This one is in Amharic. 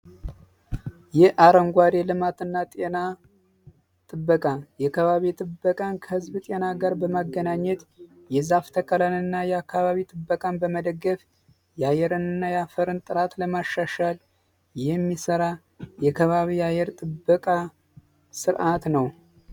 የአረንጓዴ ልማትና ጤና ጥበቃ የአካባቢ ጥበቃን ከህዝብ ጤና ጋር በማገናኘት የዛፍ ተከላን በመደገፍ የአየርንና የአፈርን ጥራትን ለማሻሻል የሚሰራ የከባቢ አየር ጥበቃ ስርዓት ነው።